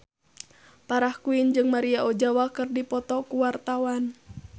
Farah Quinn jeung Maria Ozawa keur dipoto ku wartawan